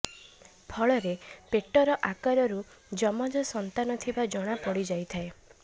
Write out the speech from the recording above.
ଫଳରେ ପେଟର ଆକାରରୁ ଯମଜ ସନ୍ତାନ ଥିବା ଜଣା ପଡ଼ି ଯାଇଥାଏ